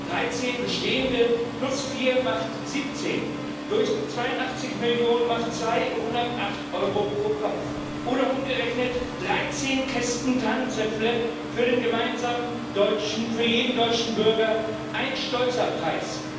13 bestehende plus 4 macht 17, durch 82 Millionen macht 208 Euro pro Kopf oder umgerechnet 13 Kästen Tannenzäpfle für jeden deutschen Bürger ein stolzer Preis!